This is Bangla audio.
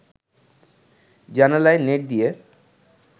জানালায় নেট দিয়ে